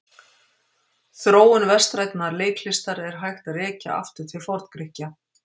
Þróun vestrænnar leiklistar er hægt að rekja aftur til Forngrikkja.